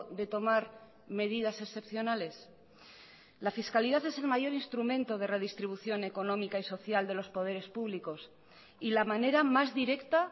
de tomar medidas excepcionales la fiscalidad es el mayor instrumento de redistribución económica y social de los poderes públicos y la manera más directa